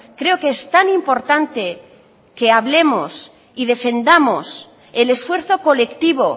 creo que es tan importante que hablemos y defendamos el esfuerzo colectivo